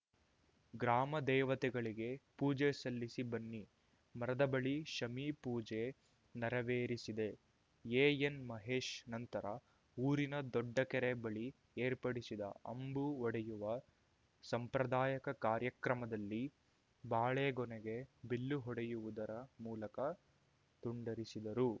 ಗ್ರಾಮ ದೇವತೆಗಳಿಗೆ ಪೂಜೆ ಸಲ್ಲಿಸಿ ಬನ್ನಿ ಮರದ ಬಳಿ ಶಮಿ ಪೂಜೆ ನೆರೆವೇರಿಸಿದೆ ಎಎನ್‌ಮಹೇಶ್‌ ನಂತರ ಊರಿನ ದೊಡ್ಡಕೆರೆ ಬಳಿ ಏರ್ಪಡಿಸಿದ ಅಂಬು ಹೊಡೆಯುವ ಸಂಪ್ರದಾಯಕ ಕಾರ್ಯಕ್ರಮದಲ್ಲಿ ಬಾಳೆ ಗೊನೆಗೆ ಬಿಲ್ಲು ಹೊಡೆಯುವುದರ ಮೂಲಕ ತುಂಡರಿಸಿದರು